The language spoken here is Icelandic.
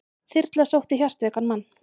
Þyrla sótti hjartveikan mann